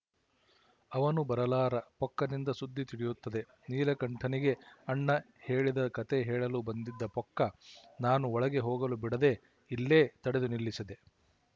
ಅವನು ಬರಲಾರ ಪೊಕ್ಕನಿಂದ ಸುದ್ದಿ ತಿಳಿಯುತ್ತದೆ ನೀಲಕಂಠನಿಗೆ ಅಣ್ಣ ಹೇಳಿದ ಕತೆ ಹೇಳಲು ಬಂದಿದ್ದ ಪೊಕ್ಕ ನಾನು ಒಳಗೆ ಹೋಗಲು ಬಿಡದೆ ಇಲ್ಲೇ ತಡೆದು ನಿಲ್ಲಿಸಿದೆ